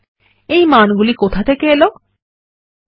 এই মানগুলি কোথা থেকে এলো160